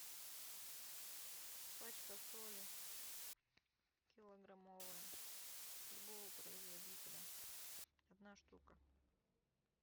пачка соли килограммовая любого производителя одна штука